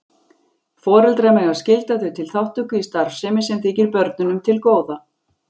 Foreldrar mega skylda þau til þátttöku í starfsemi sem þykir börnunum til góða.